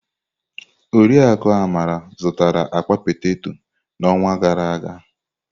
Oriakụ Amara zụtara akpa peteto n'ọnwa gara aga.